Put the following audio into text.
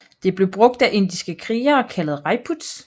Det blev brugt af indiske krigere kaldet rajputs